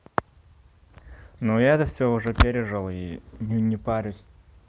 ну я это всё уже пережил и ну не парюсь